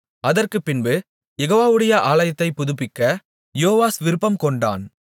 அதற்குப்பின்பு யெகோவாவுடைய ஆலயத்தைப் புதுப்பிக்க யோவாஸ் விருப்பம்கொண்டான்